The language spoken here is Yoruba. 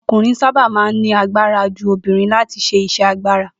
O̩kùnrin sábà máa ń ní agbara ju obìnrin láti s̩e is̩é̩ agbára